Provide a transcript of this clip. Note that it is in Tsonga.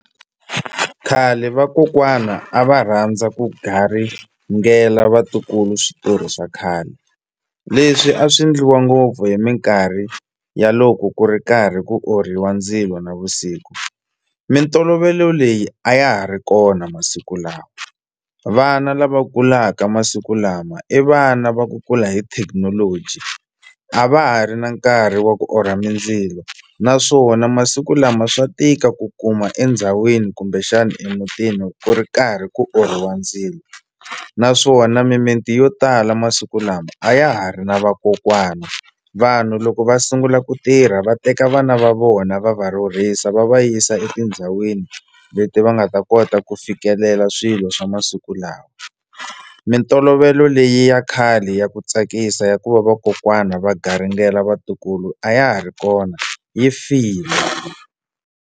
Khale vakokwana a va rhandza ku garingela vatukulu switori swa khale leswi a swi endliwa ngopfu hi minkarhi ya loko ku ri karhi ku orhiwa ndzilo navusiku mintolovelo leyi a ya ha ri kona masiku lama vana lava kulaka masiku lama i vana va ku kula hi thekinoloji a va ha ri na nkarhi wa ku orha mindzilo naswona masiku lama swa tika ku kuma endhawini kumbexani emutini ku ri karhi ku orhiwa ndzilo naswona mimiti yo tala masiku lama a ya ha ri na vakokwana vanhu loko va sungula ku tirha va teka vana va vona va va rhurhisa va va yisa etindhawini leti va nga ta kota ku fikelela swilo swa masiku lawa mintolovelo leyi ya khale ya ku tsakisa ya ku va vakokwana va garingela vatukulu a ya ha ri kona yi file.